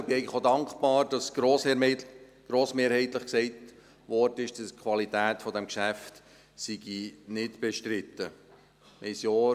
Ich bin eigentlich auch dankbar, dass grossmehrheitlich gesagt wurde, dass die Qualität dieses Geschäfts nicht bestritten sei.